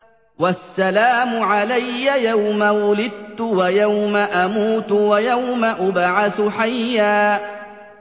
وَالسَّلَامُ عَلَيَّ يَوْمَ وُلِدتُّ وَيَوْمَ أَمُوتُ وَيَوْمَ أُبْعَثُ حَيًّا